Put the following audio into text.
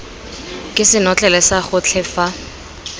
ke senotlele sa gotlhe fa